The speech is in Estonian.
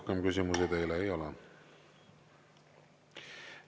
Rohkem küsimusi teile ei ole.